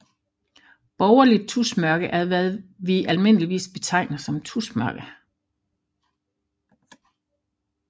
Borgerligt tusmørke er hvad vi almindeligvis betegner som tusmørke